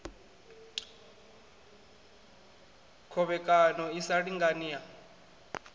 khovhekano i sa lingani ya